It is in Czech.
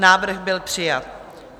Návrh byl přijat.